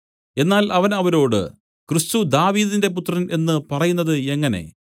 എന്നാൽ അവൻ അവരോട് ക്രിസ്തു ദാവീദിന്റെ പുത്രൻ എന്നു പറയുന്നത് എങ്ങനെ